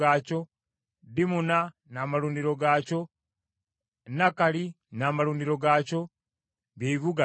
Dimuna n’amalundiro gaakyo, Nakalali n’amalundiro gaakyo, bye bibuga bina.